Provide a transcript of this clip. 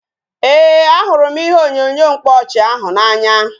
Ee, a hụrụ m ihe onyonyo mkpaọchị ahụ n'anya